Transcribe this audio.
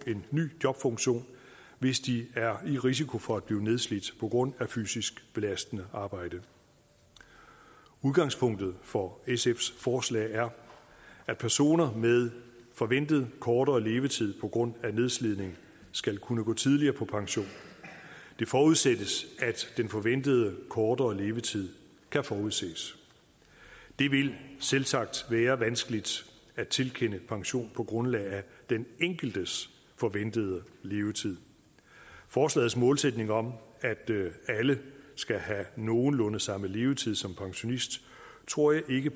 en ny jobfunktion hvis de er i risiko for at blive nedslidt på grund af fysisk belastende arbejde udgangspunktet for sfs forslag er at personer med forventet kortere levetid på grund af nedslidning skal kunne gå tidligere på pension det forudsættes at den forventede kortere levetid kan forudses det vil selvsagt være vanskeligt at tilkende pension på grundlag af den enkeltes forventede levetid forslagets målsætning om at alle skal have nogenlunde samme levetid som pensionist tror jeg ikke